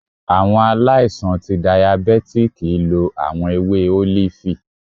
Awọn aláìsàn ti dàyábetikí lo awọn èwé olifi